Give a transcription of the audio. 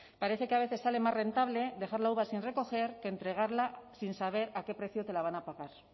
parece que a veces sale más rentable dejar la uva sin recoger que entregarla sin saber a qué precio te la van a pagar